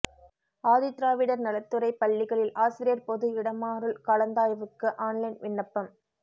ஆதி திராவிடர் நலத்துறை பள்ளிகளில் ஆசிரியர் பொது இடமாறுல் கலந்தாய்வுக்கு ஆன்லைன் விண்ணப்பம்